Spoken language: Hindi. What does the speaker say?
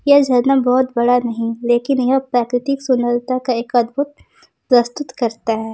यह झरना बहोत बड़ा नहीं लेकिन यह प्राकृतिक सुंदरता का एक अद्भुत प्रस्तुत करता है।